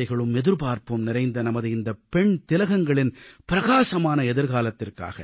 ஆசைகளும் எதிர்பார்ப்பும் நிறைந்த நமது இந்த பெண் திலகங்களின் பிரகாசமான எதிர்காலத்திற்காக